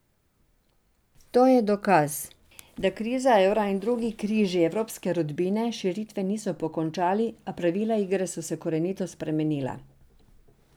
To je dokaz, da kriza evra in drugi križi evropske rodbine širitve niso pokončali, a pravila igre so se korenito spremenila.